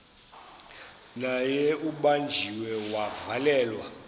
naye ubanjiwe wavalelwa